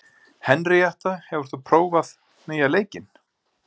Henríetta, hefur þú prófað nýja leikinn?